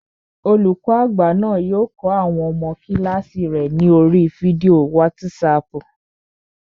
Olùkọ́ àgbà náà yóò kọ́ àwọn ọmọ kílààsì rẹ̀ ní oríi fídíò wátísapù